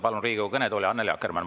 Palun Riigikogu kõnetooli Annely Akkermanni.